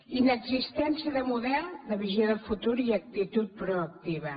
inexistència de model de visió de futur i actitud proactiva